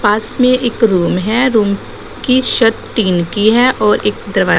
पास में एक रूम है रूम की छत टीन की है और एक दरवा--